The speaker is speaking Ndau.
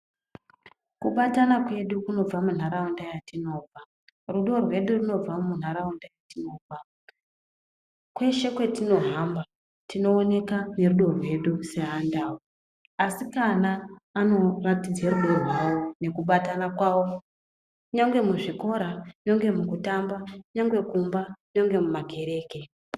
Kubatana kwedu kunobva mundaraunda yatinobva. Rudo rwedu rinobva mundaraunda yatinobva. Kweshe kwetinohamba tinoonekwa nerudo rwedu seandau ndombi dzinopangidza rudo rwadzo ngekebatana kunyangwe muzvikora chero kumakereke chaiko .